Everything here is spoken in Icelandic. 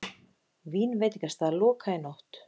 Vínveitingastað lokað í nótt